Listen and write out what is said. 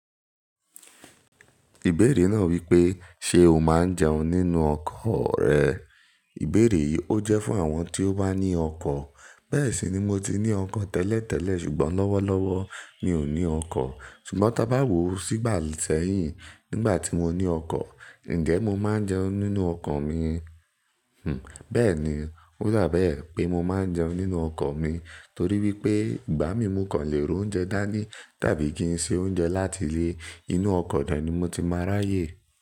Ìbéèrè náà wípé: ṣe o máa ń jẹun nínú ọkọ̀ rẹ? Ìbéèrè yìí ò jẹ́ fún àwọn tí ó bá ní ọkọ̀. Bẹ́ẹ̀ sì ni mo ti ní ọkọ̀ tẹ́lẹ̀tẹ́lẹ̀ ṣùgbọ́n lọ́wọ́lọ́wọ́ mi ò ní ọkọ̀. Ṣùgbọ́n báwo sí gbà tí sẹ́yìn nígbà tí mo ní ọkọ̀, ǹjẹ́ mo máa ń jẹun nínú ọkọ̀ mi? Hmmm, bẹ́ẹ̀ni, ó dà bá ẹ́ pé mo máa ń jẹun nínú ọkọ̀ mi torí wípé ìgbà mí mo kan lè ro oúnjẹ dání tàbí kí n ṣe oúnjẹ láti ilé, inú ọkọ̀ dà ni mo ti máa ráyè.